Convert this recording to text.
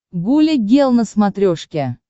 гуля гел на смотрешке